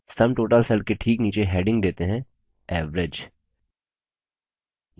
sum total cell के ठीक नीचे heading देते हैं average